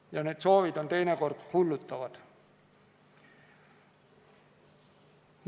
Ja need soovid on teinekord hullutavad.